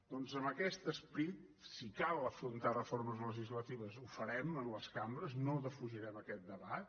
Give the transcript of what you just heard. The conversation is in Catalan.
doncs amb aquest esperit si cal afrontar reformes legislatives ho farem a les cambres no defugirem aquest debat